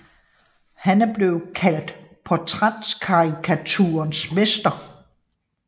Han er blevet kaldt portrætkarikaturens mester